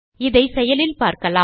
இதை செயலில் பார்க்கலாம்